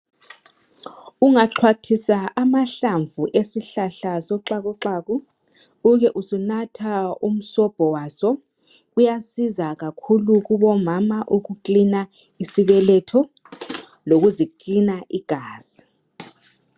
Ungaxhwathisa amahlamvu esihlala soxakuxaku ube usunatha umsobho waso uyasiza kakhulu kubomama ukuklina isibeletho lokuziklina igazi.